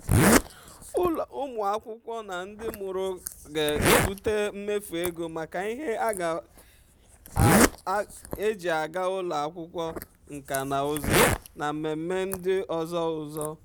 ụmụ akwụkwọ na ndị mụrụ ga-ebute mmefu ego maka ihe eji aga ụlọ akwụkwọ nkà na ụzụ na mmemme ndị ọzọ ụzọ.